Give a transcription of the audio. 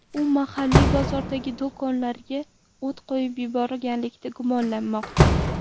U mahalliy bozordagi do‘konlarga o‘t qo‘yib yuborganlikda gumonlanmoqda.